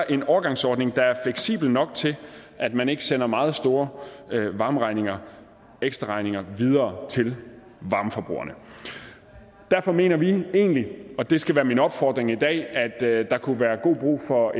en overgangsordning der er fleksibel nok til at man ikke sender meget store varmeregninger ekstraregninger videre til varmeforbrugerne derfor mener vi egentlig og det skal være min opfordring i dag at der kunne være god brug for